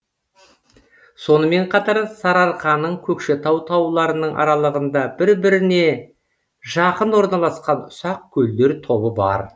сонымен қатар сарыарқаның көкшетау тауларының аралығында бір біріне жақын орналасқан ұсақ көлдер тобы бар